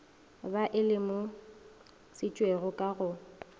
ba e lemošitšwego ka go